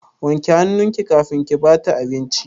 Wanke hannunki kafin ki ba ta abinci!